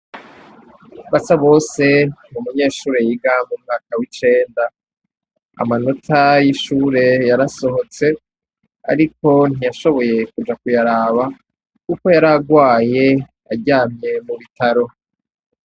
Basabose n'umunyeshure yiga mu mwaka w'icenda. Amanota y'ishure yarasohotse ariko ntiyashoboye kuja kuyaraba kuko yaragwaye aryamye mu bitaro.